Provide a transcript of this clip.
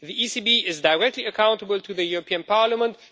The ECB is directly accountable to the European Parliament.